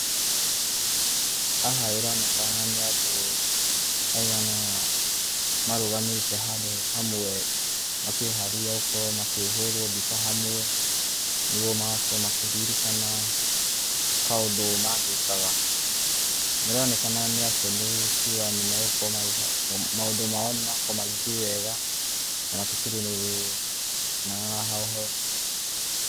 Haha ĩroneka nĩ andũ maigana ũna marũgamĩte handũ hamwe makĩharĩria gũkorwo makĩhũrwo mbica hamwe. Nĩguo magakorwo makĩririkana kaũndũ magĩkaga. Nĩ ironekana nĩ akenu kuga nĩ megũkorwo, maũndũ mao nĩmagĩkorwo magĩthiĩ wega na hatikĩrĩ na hoho.